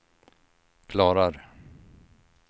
klarar